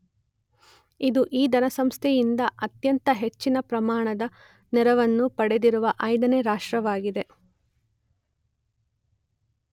ಇದು ಈ ಧನಸಂಸ್ಥೆಯಿಂದ ಅತ್ಯಂತ ಹೆಚ್ಚಿನ ಪ್ರಮಾಣದ ನೆರವನ್ನು ಪಡೆದಿರುವ 5ನೆ ರಾಷ್ಟ್ರವಾಗಿದೆ